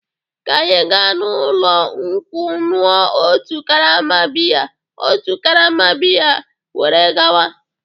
Ka anyị gaa n'ụlọ nkwụ ṅụọ otu karama bịya otu karama bịya were gawa.